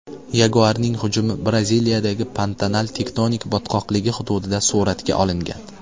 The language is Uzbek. Yaguarning hujumi Braziliyadagi Pantanal tektonik botqoqligi hududida suratga olingan.